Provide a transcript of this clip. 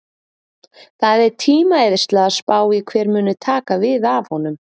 Það er tímaeyðsla að spá í hver muni taka við af honum.